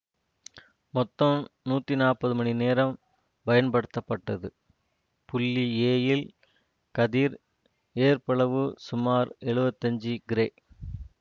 மொத்தம் நூற்றி நாற்பது மணி நேரம் பயன் படுத்தப்பட்டது புள்ளி எ யில் கதிர் ஏற்பளவு சுமார் எழுவத்தஞ்சு கிரே